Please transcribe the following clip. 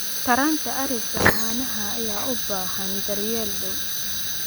Taranta ariga caanaha ayaa u baahan daryeel dhow.